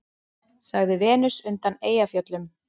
sagði Venus undan Eyjafjöllum.